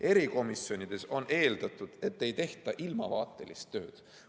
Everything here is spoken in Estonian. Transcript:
Erikomisjonides on aga eeldatud, et ei tehta ilmavaatelist tööd.